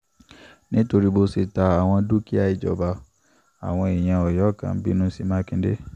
nitori bo ṣe ta awọn dukia ijọba, awọn eeyan ọyọ kan binu si Makinde